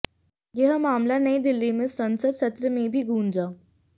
यह मामला नयी दिल्ली में संसद सत्र में भी गूंजा